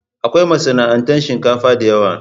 Akwai masana'antar shinkafa da yawa.